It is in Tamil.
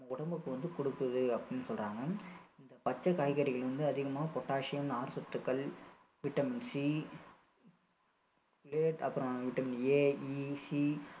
நம்ம உடம்புக்கு வந்து கொடுக்குது அப்படின்னு சொல்றாங்க இந்த பச்சை காய்கறிகள் வந்து அதிகமாக pottasium நார்சத்துக்கள் vitamin C அப்பறம் vitamin AEC